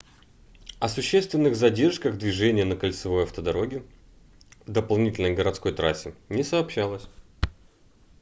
о существенных задержках движения на кольцевой автодороге дополнительной городской трассе не сообщалось